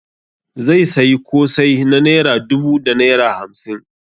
Zai sayi kosai na naira dubu da naira hamsin.